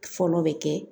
Fɔlɔ bɛ kɛ